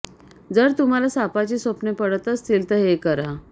जर तुम्हाला सापाची स्वप्ने पडत असतील तर हे करा